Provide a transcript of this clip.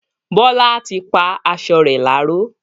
Bọla tí pá aṣọ rẹ láró